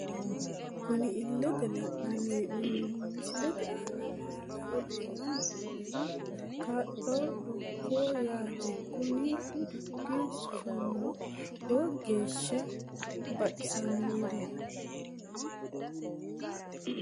Kuni illete leellanni noohu misilete aana maa lawe leellanno'ne? May horo aannoreeti? Kuni ofollate kaa'lannoho dukkaho yaate kuni dukki soofunniho lowo geeshsha baxisanoho.